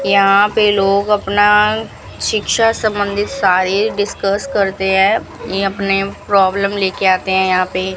यहां पे लोग अपना शिक्षा संबंधित सारी डिस्कस करते हैं अपने प्रॉब्लम लेकर आते हैं यहां पर --